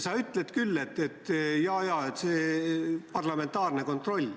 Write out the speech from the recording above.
Sa ütled küll, et jaa-jaa, siin on parlamentaarne kontroll.